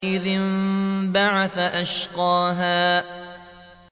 إِذِ انبَعَثَ أَشْقَاهَا